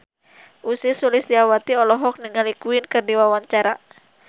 Ussy Sulistyawati olohok ningali Queen keur diwawancara